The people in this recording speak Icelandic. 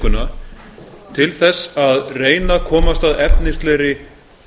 nefndavikuna til þess að reyna að komast að efnislegri